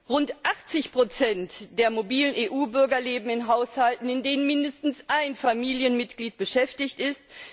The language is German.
Rund 80 der mobilen EU Bürger leben in Haushalten, in denen mindestens ein Familienmitglied beschäftigt ist.